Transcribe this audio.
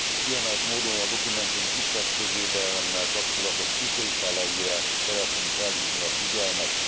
Kiemelt módon a dokumentum kisebbségvédelemmel kapcsolatos kitételeire szeretném felhívni a figyelmet.